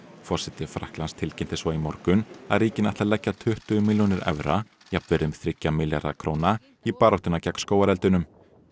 forseti Frakklands tilkynnti svo í morgun að ríkin ætla að leggja tuttugu milljónir evra jafnvirði um þriggja milljarða króna í baráttuna gegn skógareldunum